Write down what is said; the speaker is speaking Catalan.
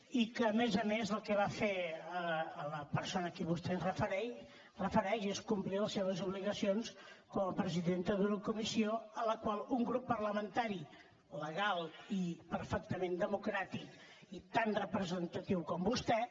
i a més a més el que va fer la persona a qui vostè es refereix és complir les seves obligacions com a presidenta d’una comissió a la qual un grup parlamentari legal i perfectament democràtic i tan representatiu com vostè